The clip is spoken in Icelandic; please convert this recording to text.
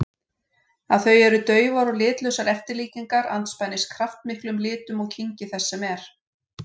Að þau eru daufar og litlausar eftirlíkingar andspænis kraftmiklum litum og kynngi þess sem er.